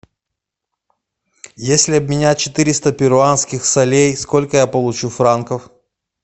если обменять четыреста перуанских солей сколько я получу франков